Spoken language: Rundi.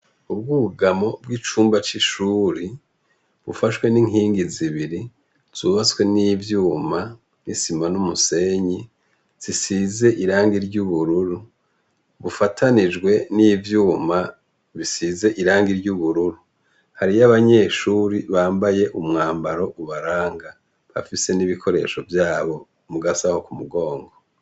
Ubwugamo bwicumba cishuri bufashwe ninkingi zibiri zubatwe nivyumba n'isima numusenyi zisize irangi ry'ubururu bufatanijwe nivyuma bisize irangi ry'ubururu hariyo abanyeshure bambaye umwambaro ubaranga bafise ibikoresho vyabo mugasho kumugongo.